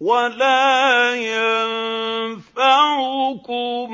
وَلَا يَنفَعُكُمْ